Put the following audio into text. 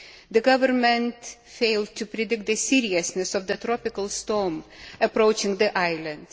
The Government failed to predict the seriousness of the tropical storm approaching the island.